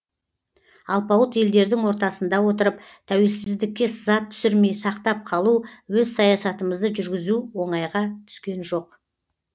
алпауыт елдердің ортасында отырып тәуелсіздікке сызат түсірмей сақтап қалу өз саясатымызды жүргізу оңайға түскен жоқ